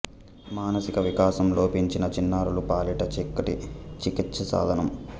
మానసిక వికాసం లోపించిన చిన్నారుల పాలిట చక్కటి చికిత్స సాధనం